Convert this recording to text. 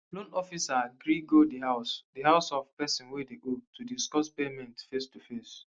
loan officer gree go di house di house of person wey dey owe to discuss payment facetoface